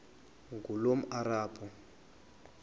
ngulomarabu